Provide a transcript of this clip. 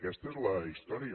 aquesta és la història